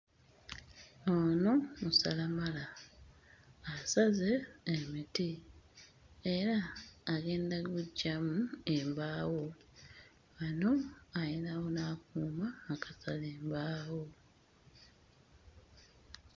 Ono musalamala. Asaze emiti era agenda gguggyamu embaawo; wano ayinawo n'akuuma akasala embaawo.